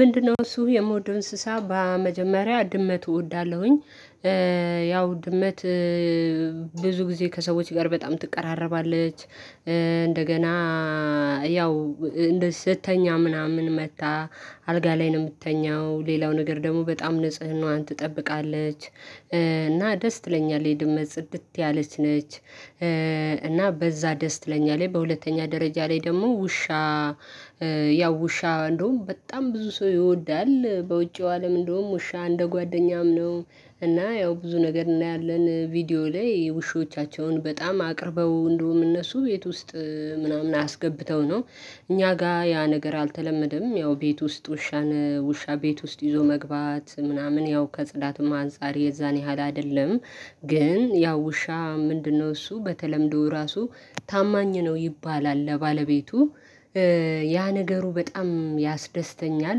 ምንድነው እሱ የምወደው እንስሳ በመጀመሪያ ድመቱ እወዳለሁኝ። ያው ድመት ብዙ ጊዜ ከሰዎች ጋር በጣም ትቀራረባለች። እንደገና ያው እንደዚህ ስትተኛ ምናምን መጥታ አልጋ ላይ ነው የምትተኛው። ሌላው ነገር ደግሞ በጣም ንጽህናዋን ትጠብቃለች። እና ደስ ትለኛለች ድመት ጽድት ያለች ነች። እና በዛ ደስ ትለኛለች ላይ በሁለተኛ ደረጃ ላይ ደግሞ ውሻ። ያው ውሻ እንደውም በጣም ብዙ ሰው ይወዳል በውጪው አለም እንደውም ውሻ እንደ ጓደኛም ነው። እና ያው ብዙ ነገር እናያለን ቪዲዮ ላይ ውሾቻቸውን በጣም አቅርበው እንደውም እነሱ የት ውስጥ ምናምን አስገብተው ነው። እኛ ጋር ያ ነገር አልተለመደም ያው ቤት ውስጥ ውሻን ውሻ ቤት ውስጥ ይዞ መግባት ምናምን ያው ከጽዳትም አንፃር የዛን ያህል አይደለም። ግን ያው ውሻ ምንድነው እሱ በተለምዶ ራሱ ታማኝ ነው ይባላል። ለባለቤቱ ያ ነገሩ በጣም ያስደስተኛል።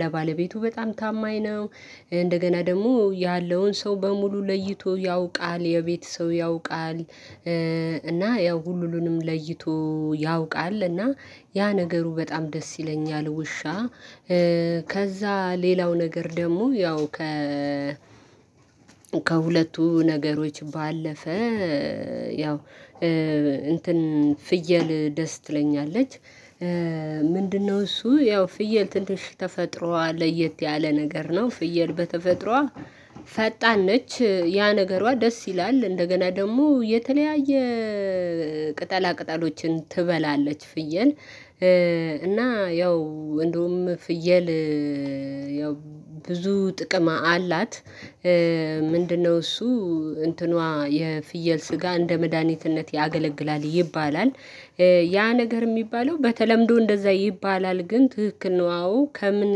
ለባለቤቱ በጣም ታማኝ ነው። እንደገና ደግሞ ያለውን ሰው በሙሉ ለይቶ ያውቃል የቤት ሰው ያውቃል። እና ያው ሁሉንም ለይቶ ያውቃል እና ያ ነገሩ በጣም ደስ ይለኛል። ውሻ ከዛ ሌላው ነገር ደግሞ ያው ከ ከሁለቱ ነገሮች ባለፈ ያው እንትን ፍየል ደስ ትለኛለች። ምንድነው እሱ ያው ፍየል ትንሽ ተፈጥሮዋ ለየት ያለ ነገር ነው። ፍየል በተፈጥሮዋ ፈጣን ነች ያ ነገሯ ደስ ይላል። እንደገና ደግሞ የተለያየ ቅጠላ ቅጠሎችን ትበላለች ፍየል። እና ያው እንደውም ፍየል ያው ብዙ ጥቅም አላት። ምንድነው እሱ እንትኗ የፍየል ስጋ እንደ መድሃኒትነት ያገለግላል ይባላል። ያ ነገር የሚባለው በተለምዶ እንደዛ ይባላል። ግን ትክክል ነው አዎ ከምን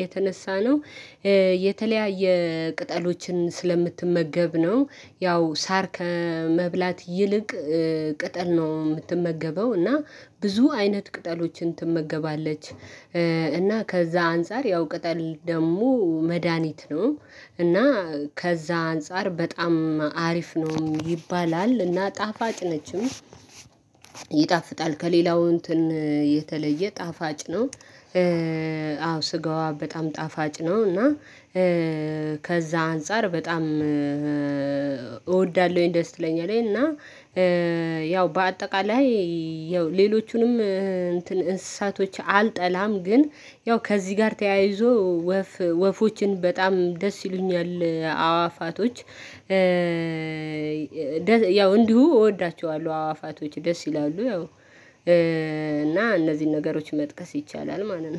የተነሳ ነው? የተለያየ ቅጠሎችን ስለምትመገብ ነው። ያው ሳር ከመብላት ይልቅ ቅጠል ነው የምትመገበው። እና ብዙ አይነት ቅጠሎችን ትመገባለች። እና ከዛ አንፃር ያው ቅጠል ደግሞ መድሃኒት ነው። እና ከዛ አንፃር በጣም አሪፍ ነው ይባላል እና ጣፋጭ ነችም። ይጣፍጣል ከሌላው እንትን የተለየ ጣፋጭ ነው። አዎ ስጋዋ በጣም ጣፋጭ ነው እና። ከዛ አንፃር በጣም እወዳለሁኝ ደስ ትለኛለኝ እና። ያው በአጠቃላይ ያው ሌሎቹንም እንትን እንስሳቶች አልጠላም ግን ያው ከዚህ ጋር ተያይዞ ወፍ ወፎችን በጣም ደስ ይሉኛል አዋፋቶች። ያው እንዲሁ እወዳቸዋለሁ አዋፋቶች ደስ ይላሉ ያው እና እነዚህን ነገሮች መጥቀስ ይቻላል ማለት ነው